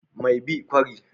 Mai be kwari?